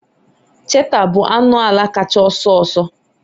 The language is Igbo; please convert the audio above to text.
cheetah bụ anụ ala kacha ọsọ ọsọ